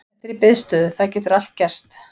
Þetta er í biðstöðu, það getur allt gerst.